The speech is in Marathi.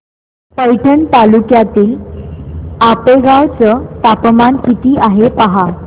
पैठण तालुक्यातील आपेगाव चं तापमान किती आहे पहा